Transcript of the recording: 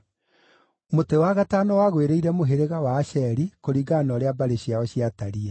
Mũtĩ wa gatano wagwĩrĩire mũhĩrĩga wa Asheri, kũringana na ũrĩa mbarĩ ciao ciatariĩ.